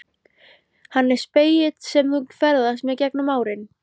Hann er spegill sem þú ferðast með gegnum árin.